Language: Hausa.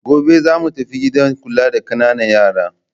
Gobe za mu tafi gidan kula da ƙananan yara.